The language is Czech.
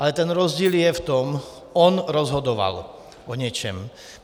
Ale ten rozdíl je v tom, on rozhodoval o něčem.